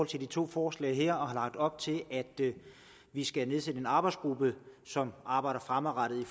til de to forslag her og har lagt op til at vi skal nedsætte en arbejdsgruppe som arbejder fremadrettet